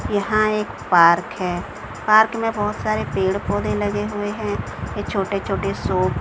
यहां एक पार्क है। पार्क में बहोत सारे पेड़-पौधे लगे हुए है ये छोटे-छोटे शो--